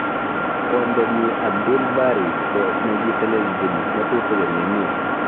Kwondonyi Abdul Bari ko ki neteleljin ngatutik eng emet.